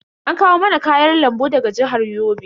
An kawo mana kayan lambu daga jihar Yobe.